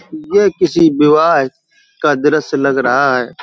यह किसी विवाह का दृश्य लग रहा है ।